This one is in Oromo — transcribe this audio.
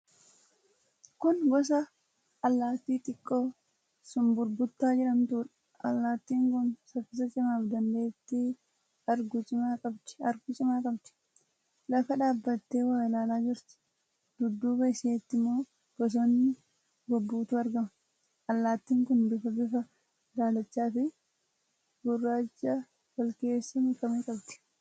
Kun gosa allaatti xiqqoo Sumburbuta jedhamtuudha. Allaattin kun saffisa cimaa fi dandeettii arguu cimaa qabdi. Lafa dhaabattee waa ilaalaa jirti. Dudduuba isheetti immoo bosonni gobbuutu argama. Allaattin kun bifa bifa daalacha fi gurraacha walkeessa makame qabdi.